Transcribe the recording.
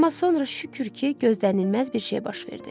Amma sonra, şükür ki, gözlənilməz bir şey baş verdi.